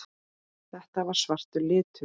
Þetta var svartur litur.